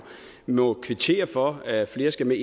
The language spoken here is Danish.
må kvittere for at flere skal med